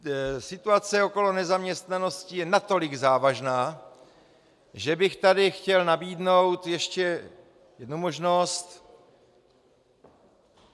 Situace okolo nezaměstnanosti je natolik závažná, že bych tady chtěl nabídnout ještě jednu možnost.